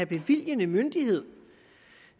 bevilgende myndighed